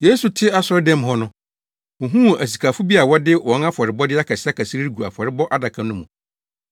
Yesu te asɔredan mu hɔ no, ohuu asikafo bi a wɔde wɔn afɔrebɔde akɛseakɛse regu afɔrebɔ adaka no mu.